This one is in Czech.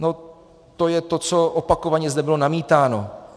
- No to je to, co opakovaně zde bylo namítáno.